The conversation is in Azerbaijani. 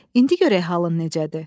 İndi görək halın necədir?